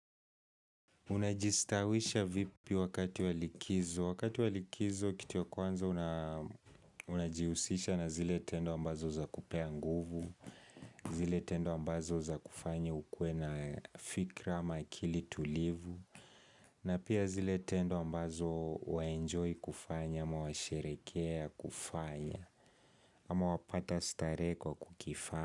Unajistawisha vipi wakati wa likizo, wakati wa likizo kitu ya kwanza unajiusisha na zile tendo ambazo zakupea nguvu, zile tendo ambazo zakufanya ukuwe na fikra ama akili tulivu, na pia zile tendo ambazo waenjoy kufanya ama washerekea kufanya ama wapata starehe kwa kukifanya.